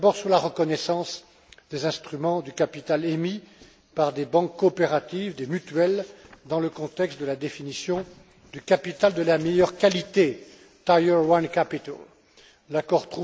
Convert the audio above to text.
D'abord sur la reconnaissance des instruments de capital émis par des banques coopératives, des mutuelles, dans le contexte de la définition du capital de la meilleure qualité L'accord